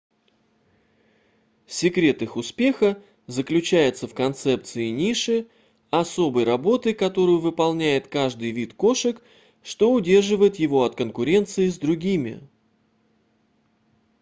секрет их успеха заключается в концепции ниши особой работы которую выполняет каждый вид кошек что удерживает его от конкуренции с другими